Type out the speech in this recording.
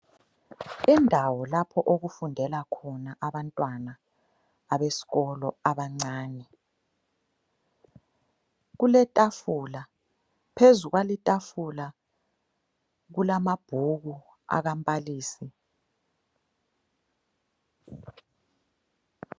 Indawo lapho okufundela khona abantwana abesikolo abancane. Kuletafula phezu kwalitafula kulamabhuku akambalisi.